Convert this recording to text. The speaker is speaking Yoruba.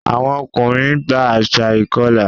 Àwọn ọkùnrin gba àṣà ìkọlà.